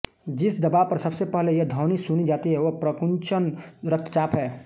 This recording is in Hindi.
जिस दबाव पर सबसे पहले यह ध्वनि सुनी जाती है वह प्रकुंचन रक्तचाप है